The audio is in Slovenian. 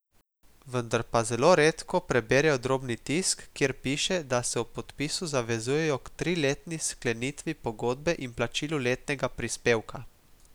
Vendar pa zelo redko preberejo drobni tisk, kjer piše, da se ob podpisu zavezujejo k triletni sklenitvi pogodbe in plačilu letnega prispevka.